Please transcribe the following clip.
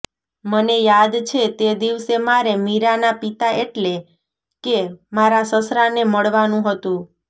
મને યાદ છે તે દિવસે મારે મીરાના પિતા એટલે કે મારા સસરાને મળવાનું હતું